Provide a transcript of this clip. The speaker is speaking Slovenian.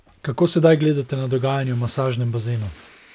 Kako sedaj gledate na dogajanje v masažnem bazenu?